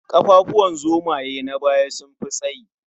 Ƙafafuwan zomaye na baya sun fi tsayi.